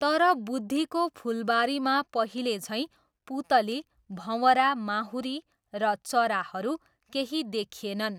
तर बुद्धिको फुलबारीमा पहिलेझैँ पुतली, भँवरा, माहुरी र चराहरू केही देखिएनन्।